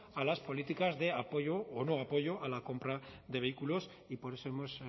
a las políticas de apoyo o no apoyo a la compra de vehículos y por eso hemos